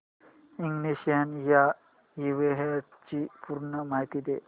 ignition या इव्हेंटची पूर्ण माहिती दे